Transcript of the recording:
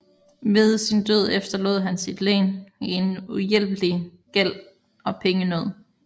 Ved sin død efterlod han sit len i en uhjælpelig gæld og pengenød